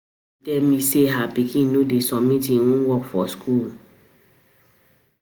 Uche tell me say her pikin no dey submit im homework for school